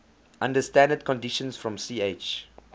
under standard conditions from ch